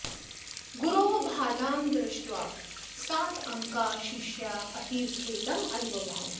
गुरोः बाधां दृष्ट्वा सातङ्काः शिष्याः अतीव खेदम् अन्वभवन्